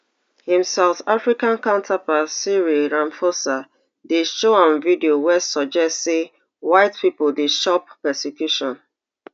im south african counterpart cyril ramaphosa dey show am video wey suggest say white pipo dey chop persecution